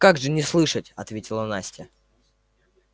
как же не слышать ответила настя